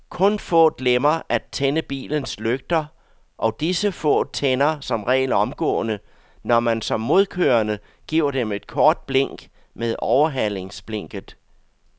Kun få glemmer at tænde bilens lygter, og disse få tænder som regel omgående, når man som modkørende giver dem et kort blink med overhalingsblinket.